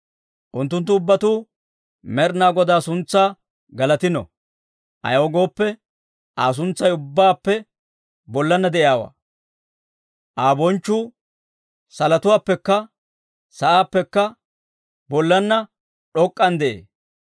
Unttunttu ubbatuu Med'inaa Godaa suntsaa galatino; Ayaw gooppe, Aa suntsay ubbaappe bollaanna de'iyaawaa; Aa bonchchuu salotuwaappekka sa'aappekka bollaanna d'ok'k'an de'ee.